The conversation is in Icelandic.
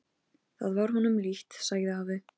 Það var honum líkt, sagði afi.